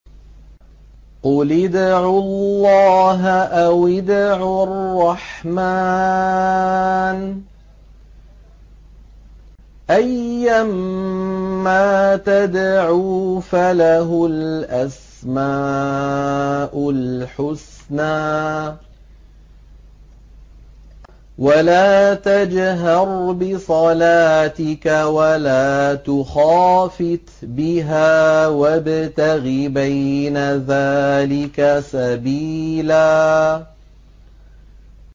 قُلِ ادْعُوا اللَّهَ أَوِ ادْعُوا الرَّحْمَٰنَ ۖ أَيًّا مَّا تَدْعُوا فَلَهُ الْأَسْمَاءُ الْحُسْنَىٰ ۚ وَلَا تَجْهَرْ بِصَلَاتِكَ وَلَا تُخَافِتْ بِهَا وَابْتَغِ بَيْنَ ذَٰلِكَ سَبِيلًا